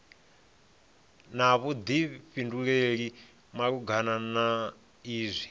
na vhuḓifhinduleli malugana na izwi